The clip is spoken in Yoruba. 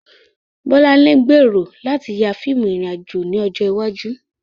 Bolanle gbèrò láti ya fíìmù ìrìn-àjò ní ọjọ́ iwájú.